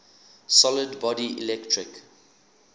solid body electric